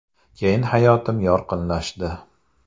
Keyin hayotim yorqinlashdi.